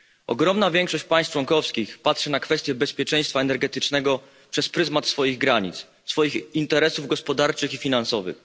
Ogromna większość państw członkowskich patrzy na kwestię bezpieczeństwa energetycznego przez pryzmat swoich granic, swoich interesów gospodarczych i finansowych.